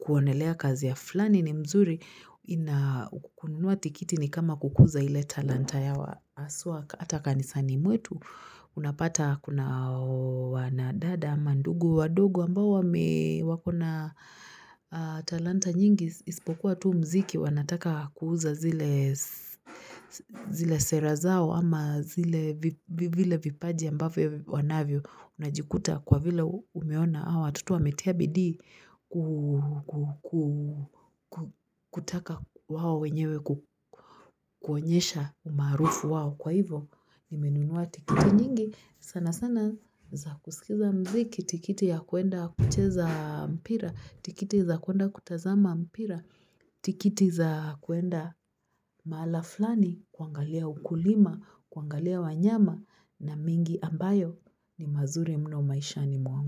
kuonelea kazi ya fulani ni mzuri na kununua tikiti ni kama kukuza ile talanta ya haswa hata kanisani mwetu unapata kuna wanadada ama ndugu wandugu ambao wame wako na talanta nyingi isipokuwa tu muziki wanataka kuuza zile sera zao ama zile vile vipaji ambavyo wanavyo, unajikuta kwa vile umeona hawa, watoto wametia bidii kutaka wao wenyewe kuonyesha umaarufu wao kwa hivo, nimenunua tikiti nyingi, sana sana za kusikiza muziki, tikiti ya kuenda kucheza mpira, tikiti za kuenda kutazama mpira tikiti za kuenda mahala fulani, kuangalia ukulima, kuangalia wanyama na mengi ambayo ni mazuri mno maishani mwangu.